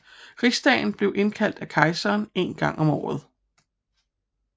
Rigsdagen blev indkaldt af kejseren en gang om året